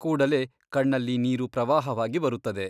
ಕೂಡಲೇ ಕಣ್ಣಲ್ಲಿ ನೀರು ಪ್ರವಾಹವಾಗಿ ಬರುತ್ತದೆ.